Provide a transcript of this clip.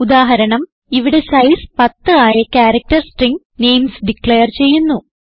ഉദാഹരണം ഇവിടെ സൈസ് 10 ആയ ക്യാരക്ടർ സ്ട്രിംഗ് നെയിംസ് ഡിക്ലയർ ചെയ്യുന്നു